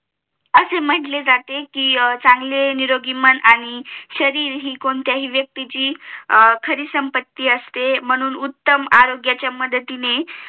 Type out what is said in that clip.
असं म्हंटले जाते चांगले निरोगी मन आणि शरीर हि कोणत्याही व्यक्तीची खरी सम्पत्ती असते म्हणून उत्तम आरोग्याच्या मदतीने